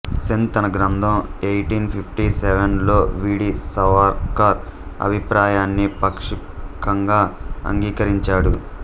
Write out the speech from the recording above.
సేన్ తన గ్రంథం eighteen fifty seven లో వి డి సావర్కర్ అభిప్రాయాన్ని పాక్షికంగా అంగీకరించాడు